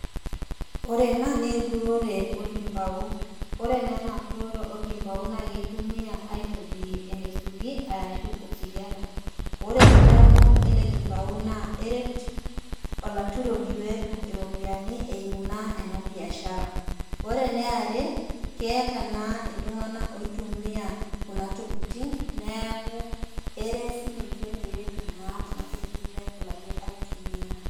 Ore ena na enturore enkumbau ore na ena turore orkimbau na kitumiai aitobirie enaisugi arashu osigara ore esidano elekumbau na eret olaturoni petum iropiyiani eimu na enabiashara ore eniare keeta naa ltunganak oitumia kuna tokitin neaku eret sininche putum kunatokitin petumoki aitumia.